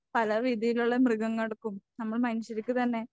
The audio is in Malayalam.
പല രീതിയിലുള്ള മൃഗങ്ങൾക്കും നമ്മൾ മനുഷ്യർക്ക് തന്നെ